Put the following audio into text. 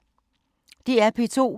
DR P2